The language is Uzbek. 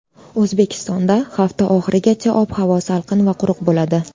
O‘zbekistonda hafta oxirigacha ob-havo salqin va quruq bo‘ladi.